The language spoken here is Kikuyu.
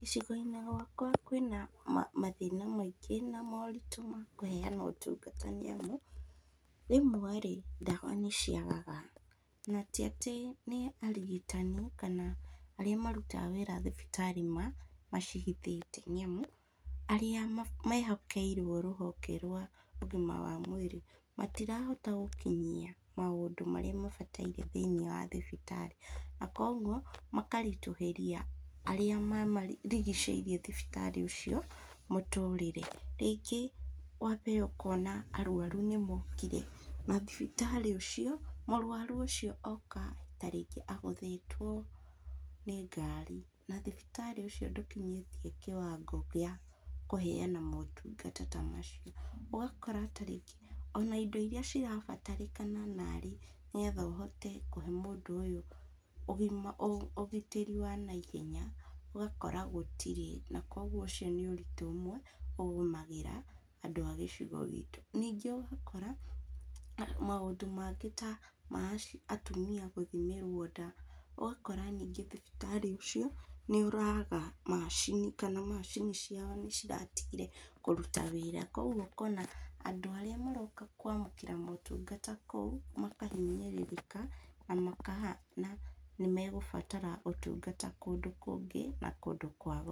Gĩcigo-inĩ gĩakwa kwĩna ma mathĩna maingĩ na moritũ ma kũheana motungata nĩamu, rĩmwe rĩ, ndawa nĩciagaga, na tĩ atĩ nĩ arigitani kana arĩa marutaga wĩra thibitarĩ ma macihithĩte nĩamu arĩa mehokeirwo rũhonge rwa ũgima wa mwĩrĩ matirahota gũkinyia maũndũ marĩa mabatairie thĩinĩ wa thibitarĩ, na koguo, makarĩtũhĩria arĩa ma marigicĩirie thibitarĩ ũcio mũtũrĩre, rĩngĩ wambe ũkona arwaru nĩmokire, na thibitarĩ ũcio, mũrwaru ũcio oka tarĩngĩ agũthĩteo nĩ ngari, na thibitarĩ ũcio ndũkinyĩtie kĩwango gĩa kũheana motungata ta macio, ũgakora tarĩngĩ ona indo iria cirabatarĩkana narĩ nĩgetha ũhote kũhe mũndũ ũyũ ũgima , ũgitĩri wa naihenya, ũgakora gũtirĩ, na koguo ũcio nĩ ũritũ ũmwe ũgũmagĩra andũ a gĩcigo gitũ, ningĩ ũgakora maũndũ mangĩ ta ma aci atumia gũthimĩrwo nda ũgakora ningĩ thibitarĩ ũcio nĩũraga macini, kana macini ciao nĩciratigire kũruta wĩra, koguo ũkona andũ arĩa maroka kwamũkĩra motungata kũu, makahinyĩrĩrĩka, na maka hana nĩmegũbatara motungata kũndũ kũngĩ na kũndũ kwa goro.